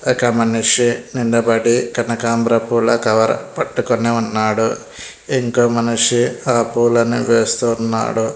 ఒక మనిషి నిలబడి కనకంబర పూల కవర్ పట్టుకొని ఉన్నాడు ఇంకో మనిషి ఆ పూలను వేస్తున్నాడు.